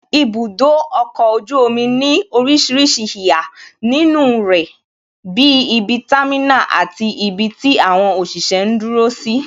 Ibudo ọkọ̀ ojú omi ní orísìírísìí ìhà nínú rẹ bí ibi támínà, àti ibi tí àwọn òṣìṣẹ́ ń dúró sí